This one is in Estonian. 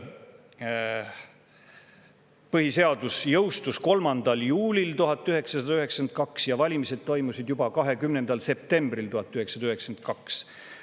Põhiseadus jõustus 3. juulil 1992 ja valimised toimusid juba 20. septembril 1992.